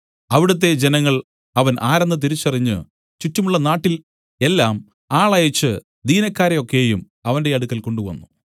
അവിടുത്തെ ജനങ്ങൾ അവൻ ആരെന്ന് തിരിച്ചറിഞ്ഞു ചുറ്റുമുള്ള നാട്ടിൽ എല്ലാം ആളയച്ച് ദീനക്കാരെ ഒക്കെയും അവന്റെ അടുക്കൽ കൊണ്ടുവന്നു